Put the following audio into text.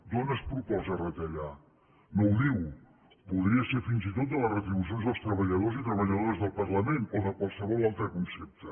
d’on es proposa retallar no ho diu podria ser fins i tot de les retribucions dels treballadors i treballadores del parlament o de qualsevol altre concepte